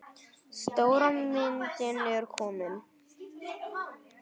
Stóra myndin er komin.